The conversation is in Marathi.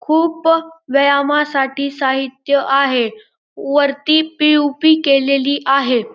खूप व्यायामासाठी साहित्य आहे वरती पी.ओ.पी. केलेली आहे.